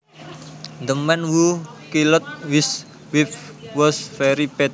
The man who killed his wife was very bad